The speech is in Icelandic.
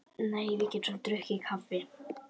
Nei, við getum drukkið kaffi.